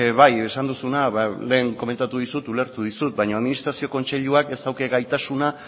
bai esan duzuna lehen komentatu dizut ulertu dizut baina administrazio kontseiluak ez dauka gaitasuna